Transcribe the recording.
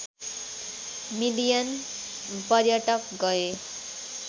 million पर्यटक गए